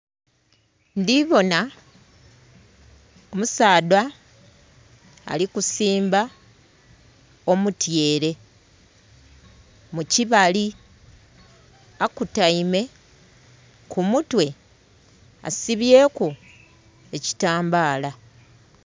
Ndhi bona omusaadha ali kusimba omutyere mu kibali akutaime, ku mutwe asibyeku ekitambaala.